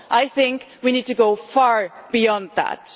I think we need to go far beyond that.